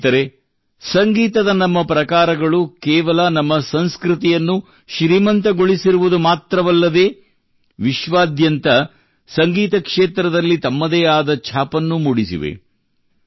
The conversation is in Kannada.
ಸ್ನೇಹಿತರೇ ಸಂಗೀತದ ನಮ್ಮ ಪ್ರಕಾರಗಳು ಕೇವಲ ನಮ್ಮ ಸಂಸ್ಕೃತಿಯನ್ನು ಶ್ರೀಮಂತಗೊಳಿಸಿರುವುದು ಮಾತ್ರವಲ್ಲದೇ ವಿಶ್ವಾದ್ಯಂತ ಸಂಗೀತ ಕ್ಷೇತ್ರದಲ್ಲಿ ತಮ್ಮದೇ ಆದ ಛಾಪನ್ನು ಮೂಡಿಸಿವೆ